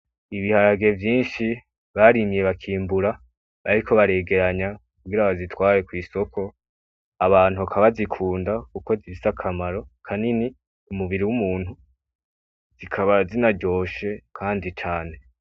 Ibiharage vyinshi barimye bakimbura, bariko baregeranya kugira babitware kw‘ isoko. Abantu bakaba babikunda kuko bifise akamaro kanini ku muburi w‘ umuntu bikaba binaryoshe kandi cane .